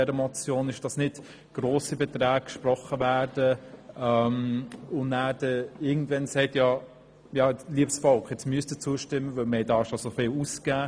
Wir wollen nicht, dass grosse Beträge gesprochen werden und man dann irgendwann sagt: Liebes Volk, nun müssen Sie zustimmen, weil wir bereits so viel ausgegeben haben.